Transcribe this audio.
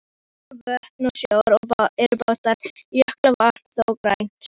Ár, vötn og sjór er blátt, jökulvatn þó grænt.